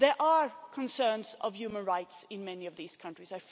There are concerns about human rights in many of these countries.